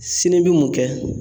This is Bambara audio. Sin'i bi mun kɛ ?